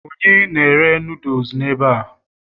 onye na-ere noodles n'ebe a?